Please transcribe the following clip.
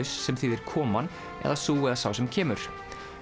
sem þýðir koman eða sú eða sá sem kemur